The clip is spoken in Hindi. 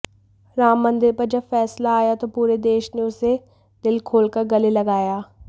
राम मंदिर पर जब फ़ैसला आया तो पूरे देश ने उसे दिल खोलकर गले लगाया